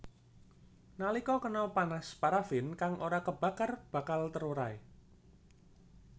Nalika kena panas paraffin kang ora kebakar bakal terurai